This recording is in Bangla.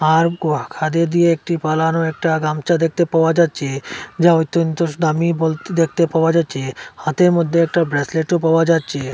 আর কোয়া খাদে দিয়ে একটি বানানো একটা গামছা দেখতে পাওয়া যাচ্ছে যা ঐত্যন্ত দামি বলতে দেখতে পাওয়া যাচ্ছে হাতের মধ্যে একটা ব্রেসলেটও পাওয়া যাচ্ছে।